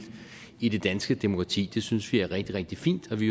i det danske demokrati synes vi er rigtig rigtig fint og vi